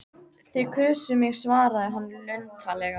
Þið kusuð mig svaraði hann luntalega.